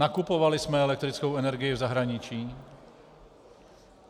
Nakupovali jsme elektrickou energii v zahraničí.